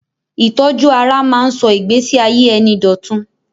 Ìtọ́jú ara ń máa ń sọ ìgbẹ́síayé ẹni dọ̀tun.